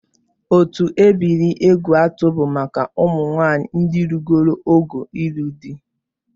Otu ebiri Egwuatu bụ maka ụmụnwaanyị ndị rugoro ogo ịlụ di